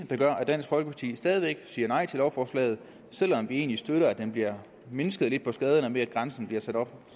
der gør at dansk folkeparti stadig væk siger nej til lovforslaget selv om vi egentlig støtter at der bliver mindsket lidt på skaderne ved at grænsen bliver sat op